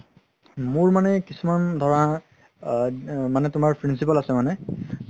মোৰ মানে কিছুমান ধৰা আ মানে তুমাৰ principle আছে মানে